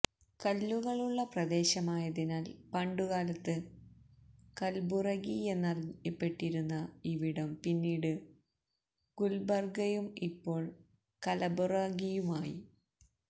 കല്ലുകളുള്ള പ്രദേശമായതിനാല് പണ്ടുകാലത്ത് കല്ബുറഗിയെന്നറിയപ്പെട്ടിരുന്ന ഇവിടം പിന്നീട് ഗുല്ബര്ഗയും ഇപ്പോള് കലബുറഗിയുമായി